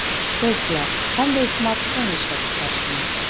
Tesla qanday smartfon ishlab chiqarishi mumkin?.